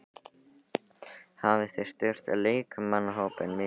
Hafið þið styrkt leikmannahópinn mikið í vetur?